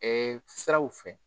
Ɛɛ siraw fɛ